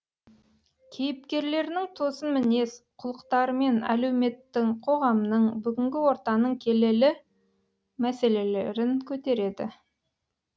кейіпкерлерінің тосын мінез құлықтарымен әлеуметтің қоғамның бүгінгі ортаның келелі мәселелерін көтереді